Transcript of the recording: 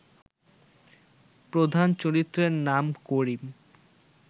প্রধান চরিত্রের নাম করিম